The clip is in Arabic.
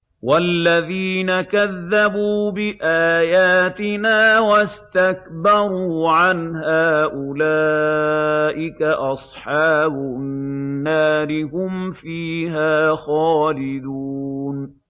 وَالَّذِينَ كَذَّبُوا بِآيَاتِنَا وَاسْتَكْبَرُوا عَنْهَا أُولَٰئِكَ أَصْحَابُ النَّارِ ۖ هُمْ فِيهَا خَالِدُونَ